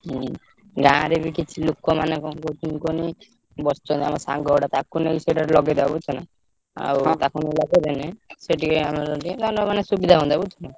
ହୁଁ ଗାଁରେ ବି କିଛି ଲୋକ ମାନେ କଣ କହୁଥିଲି କହନି ବସିଛନ୍ତି ଆମ ସାଙ୍ଗଗୁଡା ତାଙ୍କୁ ନେଇ ସେଇଠି ଲଗେଇଦବା ବୁଝୁଛ ନା? ଆଉ ତାଙ୍କୁ ନେଇ ଲଗେଇଦେଲେ, ସେ ଟିକେ ସୁବିଧା ହୁଅନ୍ତା ବୁଝୁଛୁନା?